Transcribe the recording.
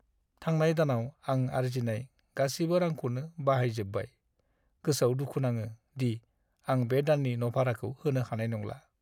थांनाय दानाव आं आरजिनाय गासिबो रांखौनो बाहायजोब्बाय। गोसोआव दुखु नाङो दि आं बे दाननि न' भाराखौ होनो हानाय नंला।